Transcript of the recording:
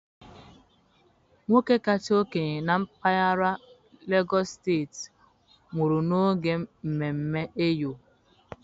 Nwoke kacha okenye na mpaghara Legọs steti nwụrụ n'oge mmemme Eyo.